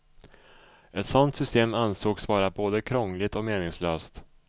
Ett sådant system ansågs vara både krångligt och meningslöst.